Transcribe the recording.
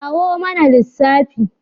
Kawo mana lissafi!